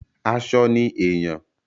Aṣọ ni èèyàn.